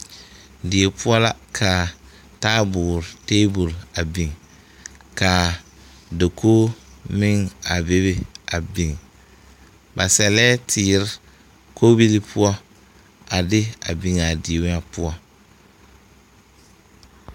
Die poɔ la ka taaboore tabol a biŋ ka dakogi meŋ a bebe a biŋ ba sɛlɛɛ teere kɔbilii poɔ a de a biŋ a die ŋa poɔ.